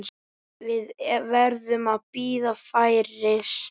Við verðum að bíða færis.